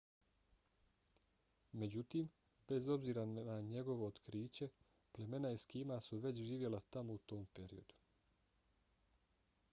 međutim bez obzira na njegovo otkriće plemena eskima su već živjela tamo u tom periodu